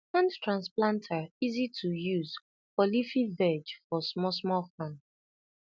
hand transplanter easy to use for leafy veg for small small farm